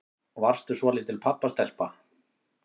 Varstu svolítil pabbastelpa?